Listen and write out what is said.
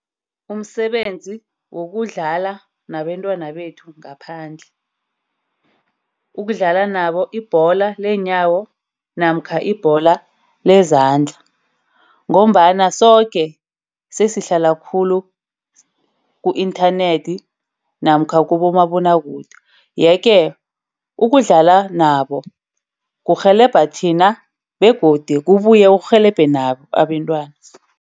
Umsebenzi wokudlala nabentwana bethu ngaphandle. Ukudlala nabo ibhola leenyawo namkha ibhola lezandla, ngombana soke sesihlala khulu ku-inthanethi namkha kubomabonwakude. Yeke ukudlala nabo kurhelebha thina begodu kubuye kurhelebhe nabo abentwana.